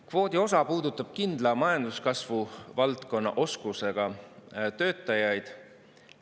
Kvoodi osa puudutab kindla majanduskasvuvaldkonna oskusega töötajaid.